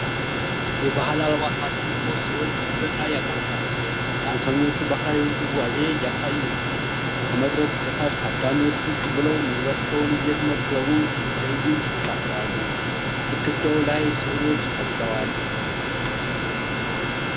የባህል አልባሳት የለበሱ ሰዎች መድረክ ላይ ያቀርባሉ። ዳንሰኞቹ ባህላዊ ውዝዋዜ እያሳዩ ነው። ከመድረኩ በታች ታዳሚዎች ቁጭ ብለው ምግባቸውን እየተመገቡ ትዕይንቱን ይከታተላሉ። ግድግዳው ላይ ሥዕሎች ተስለዋል።